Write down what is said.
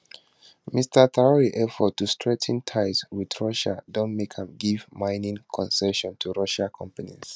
mr traor efforts to strengthen ties wit russia don make am give mining concessions to russian companies